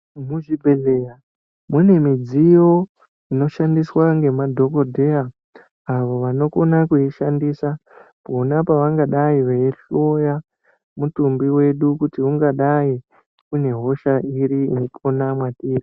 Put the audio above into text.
Muchibhedhleya mune midziyo inoshandiswa ngemadhokodheya avo vanokona kuishandisa pona pavangadai veihloya mutumbi wedu kuti ungadai une hosha iri irikona mwatiri.